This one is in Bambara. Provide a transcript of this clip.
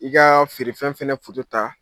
I kaa feerefɛn fɛnɛ ta